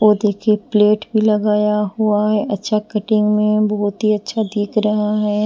वो देखिए प्लेट भी लगाया हुआ है अच्छा कटिंग में बहुत ही अच्छा दिख रहा है।